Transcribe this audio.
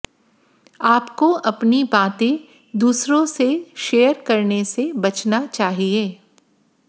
आपको अपनी बातें दूसरों से शेयर करने से बचना चाहिए